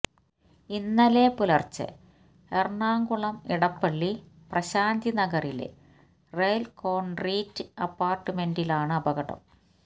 ഇന്നലെ പുലര്ച്ചെ എറണാകുളം ഇടപ്പള്ളി പ്രശാന്തി നഗറിലെ റെല്കോണ് റിട്രീറ്റ് അപ്പാര്ട്ട്മെന്റിലാണ് അപകടം